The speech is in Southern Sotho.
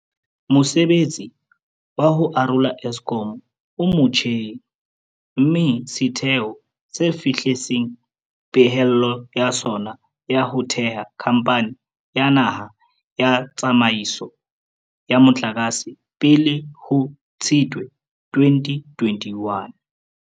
Mosebetsi wa ho arola Eskom o motjheng, mme setheo se fihlelletse pehelo ya sona ya ho theha Khamphani ya Naha ya Tsa maiso ya Motlakase pele ho Tshitwe 2021.